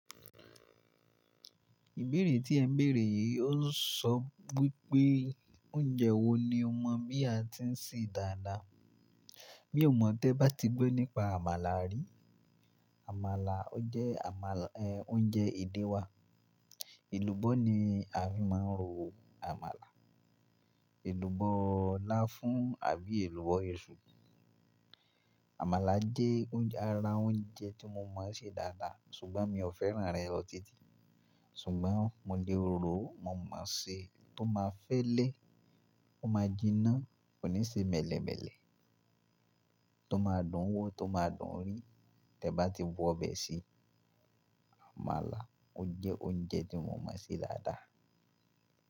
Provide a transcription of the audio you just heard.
Ìbéèrè tí ẹ bèèrè yìí ó ń sọ wípé oúnjẹ wo ni o mọ bí a ti ń ṣe dáadáa? Mi ò mọ̀ tẹ́ ba ti gbọ́ nípa àmàlà rí. Àmàlà jẹ́ àmàlà, ẹ, oúnjẹ èdè wa. Èlùbọ́ ni a fi máa ń ro àmàlà. Èlùbọ́ láfún àbí èlùbọ́ ìṣù. Àmàlà jẹ́ oúnjẹ, ara oúnjẹ tí mo mọ̀ ṣe dáadáa ṣùgbọ́n mi ò fẹ́ràn rẹ̀ lọ tí-tì. Ṣùgbọ́n mo lè ròó, mo mọ̀ ṣe, tó máa fẹ́lẹ́, ó máa jinná, kò ní ṣe mẹ̀lẹ̀mẹ̀lẹ̀. Tó máa dùn ún wọ̀, tó máa dùn ún rí, tẹ́ ba ti bu obẹ̀ sí. Àmàlà jẹ́ oúnjẹ tí mo mọ̀ ṣe dáadáa.